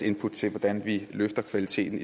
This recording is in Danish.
input til hvordan vi løfter kvaliteten